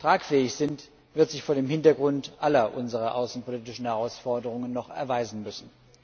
tragfähig sind, wird sich vor dem Hintergrund aller unserer außenpolitischen Herausforderungen noch erweisen müssen.